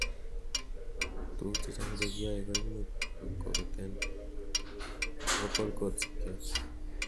tuguk chechang chekiyoe koimuch kokoten vocal cords ikyok